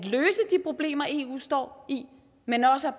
problemer eu står i men også